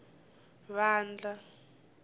vandla